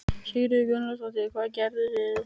Sigríður Guðlaugsdóttir: Hvað gerðuð þið?